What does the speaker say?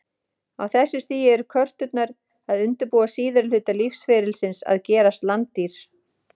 Á þessu stigi eru körturnar að undirbúa síðari hluta lífsferlisins, að gerast landdýr.